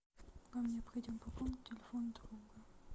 вам необходимо пополнить телефон друга